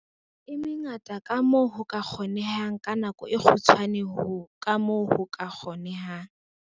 e mengata kamoo ho ka kgonehang ka nako e kgutshwane kamoo ho ka kgonehang.